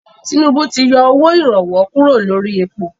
Tinúbú ti yọ owó ìrànwọ́ kúrò lórí èpo.